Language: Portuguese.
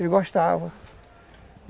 Ele gostava.